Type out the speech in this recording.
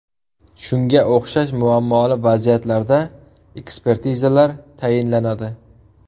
Shunga o‘xshash muammoli vaziyatlarda ekspertizalar tayinlanadi.